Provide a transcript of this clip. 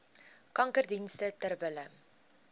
kankerdienste ter wille